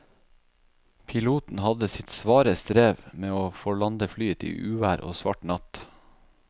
Piloten hadde sitt svare strev med å få landet flyet i uvær og svart natt.